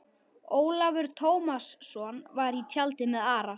Ólafur Tómasson var í tjaldi með Ara.